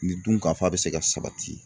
Nin dun ka fa bɛ se ka sabati .